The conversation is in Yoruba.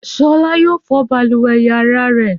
Ṣọlá yóò fọ balùwẹ̀ ìyàrá rẹ̀.